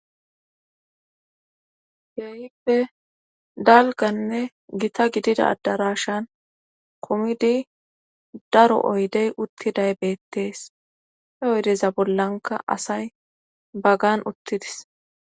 heyippe dalganne gita gidida adarashan komidi daro oydey uttiday beettees he oydeza bollanka asay bagan uttidis